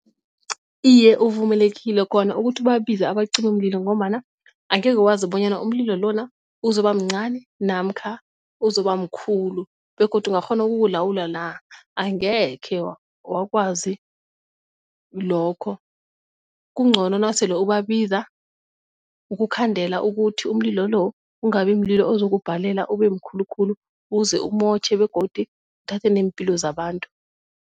Iye, uvumelekile khona ukuthi ubabize abacimimlilo ngombana angekhe wazi bonyana umlilo lona uzoba mncani namkha uzoba mkhulu, begodu ungakghona ukuwulawula la, angekhe wa wakwazi lokho kungcono nasele ubabiza ukukhandela ukuthi umlilo lo kungabi mlilo ozokubhalela ube mkhulu khulu uze umotjhe begodu uthathe neempilo zabantu.